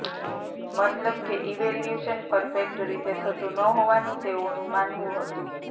મતલબ કે evolution perfect રીતે થતું ન હોવાનું તેઓનું માનવું હતું